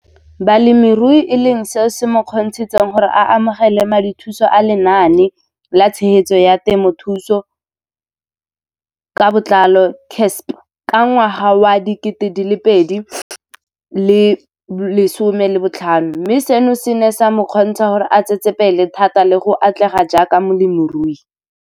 Balemirui e leng seo se mo kgontshitseng gore a amogele madithuso a Lenaane la Tshegetso ya Temothuo ka Botlalo CASP ka ngwaga wa 2015, mme seno se ne sa mo kgontsha gore a tsetsepele thata le go atlega jaaka molemirui.